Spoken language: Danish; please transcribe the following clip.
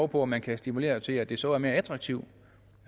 på om man kan stimulere til at det så er mere attraktivt